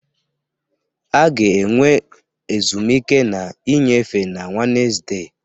A ga-enwe ezumike na nnyefe na Wednesde